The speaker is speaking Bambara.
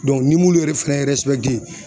ni m'ulu yɛrɛ fɛnɛ